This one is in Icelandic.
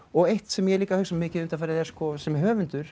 eitt sem ég hef hugsað mikið undanfarið að sem höfundur